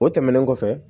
O tɛmɛnen kɔfɛ